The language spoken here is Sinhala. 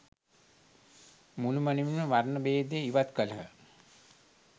මුළුමනින්ම වර්ණ භේදය ඉවත් කළහ.